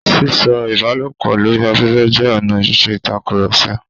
Sísọ̀rọ̀ ìbálòpọ̀ lori afẹfẹ jẹ́ ọ̀nà ṣiṣe íṣekúṣe.